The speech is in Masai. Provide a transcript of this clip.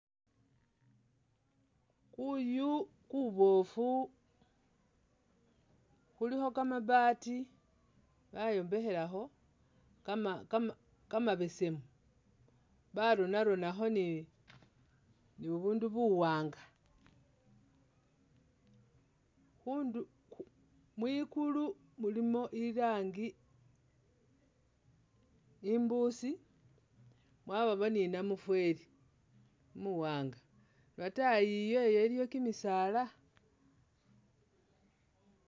Kuyu kuboofu kulikho kamabaati bayombekhelakho kama kama kamabesemu, baronaronakho ni bubundu buwanga. Mwigulu mulimo irangi imbusi mwabamo ni namufeli umuwaanga, lwataayi iyeyo iliyo kimisaala.